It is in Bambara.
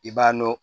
I b'a dɔn